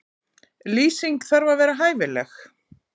Lýsing þarf að vera hæfileg.